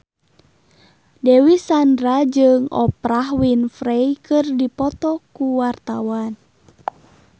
Dewi Sandra jeung Oprah Winfrey keur dipoto ku wartawan